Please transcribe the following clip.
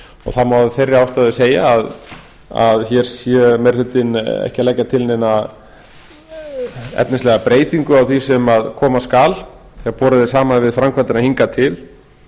það má af þeirri ástæðu segja að hér sé meiri hlutinn ekki að leggja til neina efnislega breytingu á því sem koma skal þegar borið er saman við framkvæmdina hingað til